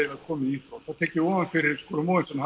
komið í þrot þá tek ég ofan fyrir Skúla Mogensen að